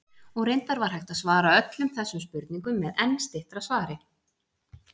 Og reyndar var hægt að svara öllum þessum spurningum með enn styttra svari.